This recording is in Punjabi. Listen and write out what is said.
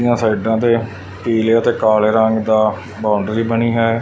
ਦਿਆਂ ਸਾਈਡਾਂ ਤੇ ਪੀਲੇ ਤੇ ਕਾਲੇ ਰੰਗ ਦਾ ਬਾਊਂਡਰੀ ਬਣੀ ਹੈ।